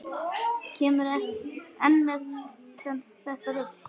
Kemurðu enn með þetta rugl!